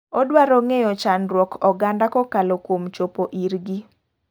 Odwaro ng'eyo chandruok oganda kokalo kuom chopo ir gi.